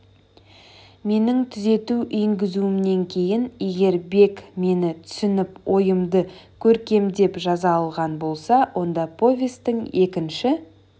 менің түзету енгізуімнен кейін егер бек мені түсініп ойымды көркемдеп жаза алған болса онда повестің екінші